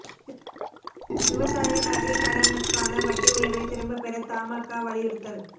விவசாய நகைக் கடனுக்கான வட்டி உயா்வை திரும்பப் பெற தமாகா வலியுறுத்தல்